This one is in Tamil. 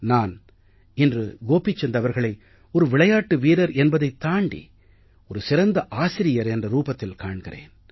நான் இன்று கோபிசந்த் அவர்களை ஒரு விளையாட்டு வீரர் என்பதைத் தாண்டி ஒரு சிறந்த ஆசிரியர் என்ற ரூபத்தில் காண்கிறேன்